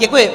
Děkuji.